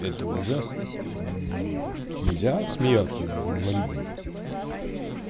это ужасно нельзя смеяться над инвалидами